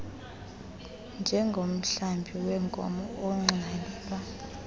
njengomhlambi weenkomo ugxwalela